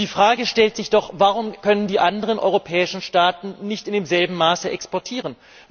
Die Frage stellt sich doch Warum können die anderen europäischen Staaten nicht in demselben Maße exportieren?